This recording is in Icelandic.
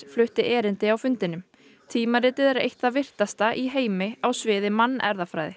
flutti erindi á fundinum tímaritið er eitt það virtasta í heimi á sviði mannerfðafræði